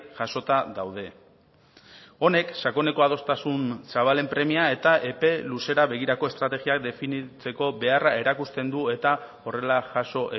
jasota daude honek sakoneko adostasun zabalen premia eta epe luzera begirako estrategiak definitzeko beharra erakusten du eta horrela jaso